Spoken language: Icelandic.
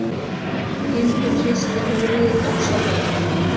Hildur hristi höfuðið ósjálfrátt.